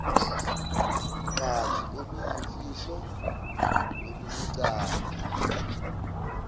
banzi oluyimfihlo nolubucayi